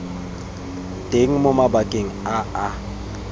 teng mo mabakeng a a